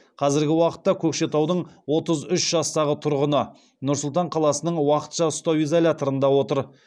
қазіргі уақытта көкшетаудың отыз үш жастағы тұрғыны нұр сұлтан қаласының уақытша ұстау изоляторында отыр